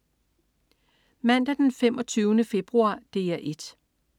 Mandag den 25. februar - DR 1: